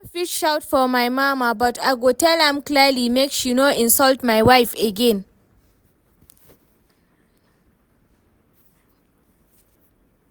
I no fit shout for my mama but I go tell am clearly make she no insult my wife again